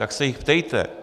Tak se jich ptejte.